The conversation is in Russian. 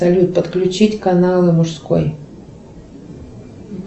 салют подключить каналы мужской